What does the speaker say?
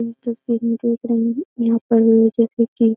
इस तस्वीर में देख रहे हैं यहां पर जैसा कि --